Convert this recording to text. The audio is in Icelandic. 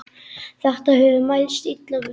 Þetta hefur mælst illa fyrir.